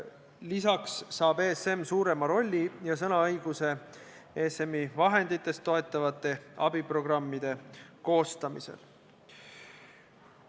Lisaks saab ESM suurema rolli ja sõnaõiguse ESM-i vahenditest toetatavate abiprogrammide koostamisel.